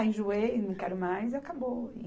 Enjoei, não quero mais, acabou.